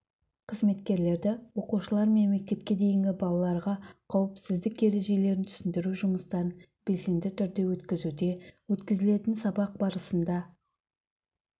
қызметкерлері оқушылармен мектепке дейінгі балаларға қауіпсіздік ережелерін түсіндіру жұмыстарын белсенді түрде өткізуде өткізілетін сабақ барысында